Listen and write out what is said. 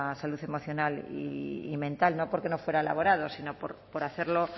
salud emocional y mental no porque no fuera elaborado sino por hacerlo